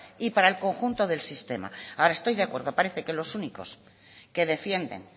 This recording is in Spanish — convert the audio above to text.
y para el conjunto del sistema ahora estoy de acuerdo parece que los únicos que defienden